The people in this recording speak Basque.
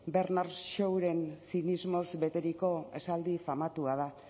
bernard shawren zinismoaz beteriko esaldi famatua da